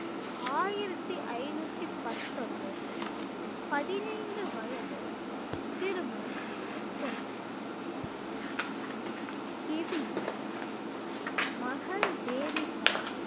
ஆயிரத்தி ஐநூத்தி பத்தொன்பது பதினைந்து வயதில் திருமணம் செய்து கொண்டார் கிவி மகள் தேவி சந்த்